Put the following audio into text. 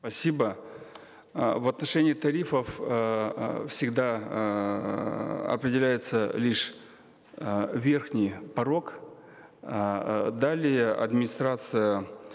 спасибо э в отношении тарифов эээ всегда эээ определяется лишь э верхний порог эээ далее администрация